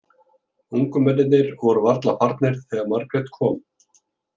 Ungu mennirnir voru varla farnir þegar Margrét kom.